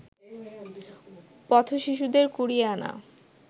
পথ-শিশুদের কুড়িয়ে আনা